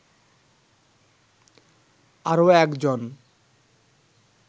আরও একজন